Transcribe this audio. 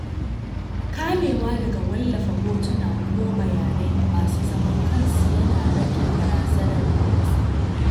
Kamewa daga wallafa hotuna ko bayanai masu zaman kansu yana rage barazanar kutse.